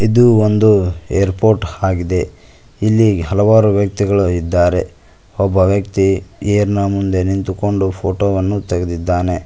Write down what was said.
ಇದು ಒಂದು ಏರ್ಪೋರ್ಟ್ ಹಾಗಿದೆ ಇಲ್ಲಿ ಹಲವಾರು ವ್ಯಕ್ತಿಗಳು ಇದ್ದಾರೆ ಒಬ್ಬ ವ್ಯಕ್ತಿ ಏರ್ನ ಮುಂದೆ ನಿಂತುಕೊಂಡು ಫೋಟೋ ವನ್ನು ತೆಗೆದಿದ್ದಾನೆ.